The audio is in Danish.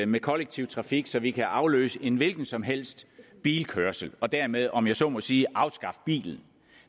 med kollektiv trafik at vi kan afløse en hvilken som helst bilkørsel og dermed om jeg så må sige afskaffe bilen